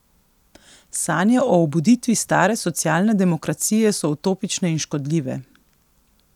Sanje o obuditvi stare socialne demokracije so utopične in škodljive.